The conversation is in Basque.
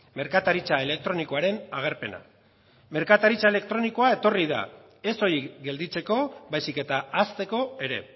merkataritza elektronikoaren agerpena merkataritza elektronikoa etorri da ez soilik gelditzeko baizik eta hazteko ere